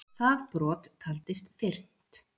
Það brot taldist fyrnt.